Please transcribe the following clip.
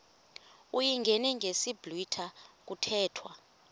uyingene ngesiblwitha kuthethwa